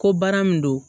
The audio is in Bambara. Ko baara min don